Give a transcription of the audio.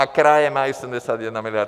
A kraje mají 71 miliard.